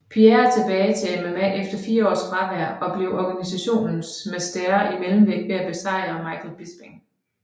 Pierre tilbage til MMA efter fire års fravær og blev organisationens mästare i mellemvægt ved at besejre Michael Bisping